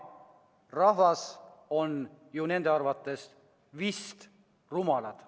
Rahvas vist on nende arvates rumal.